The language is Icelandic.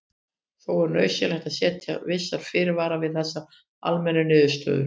Þó er nauðsynlegt að setja vissa fyrirvara við þessari almennu niðurstöðu.